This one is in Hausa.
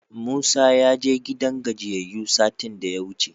Musa ya je gidan gajiyayyu satin da yawuce.